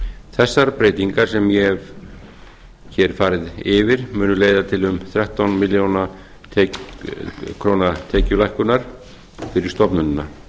þessar breytingar sem ég hef hér farið yfir munu leiða til um þrettán milljónir króna tekjulækkunar fyrir stofnunina